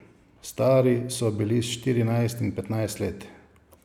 Stari so bili štirinajst in petnajst let.